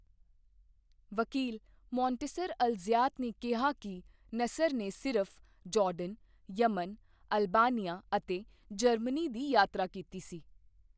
ਵਕੀਲ Montaser al Zayat ਨੇ ਕਿਹਾ ਕਿ ਨਸਰ ਨੇ ਸਿਰਫ ਜਾਰਡਨ, ਯਮਨ, ਅਲਬਾਨੀਆ ਅਤੇ ਜਰਮਨੀ ਦੀ ਯਾਤਰਾ ਕੀਤੀ ਸੀ।